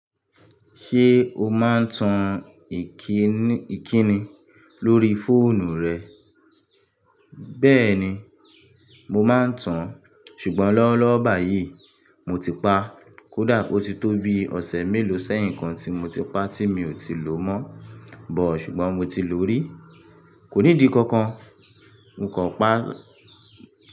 Ṣé o máa ń tan ìkíni lórí fóònù rẹ? Bẹ́ẹ̀ni, mo máa ń tan, ṣùgbọ́n lọ́wọ́lọ́wọ́ báyìí mo ti pa. Kódà o ti tó bi ọ̀sẹ̀ mélòó sẹ́yìn kan tí mo ti pa tí mi ò ti lò mọ́ bọ̀, ṣùgbọ́n mo ti lò ó rí. Kò ní di kankan, n kò pa á.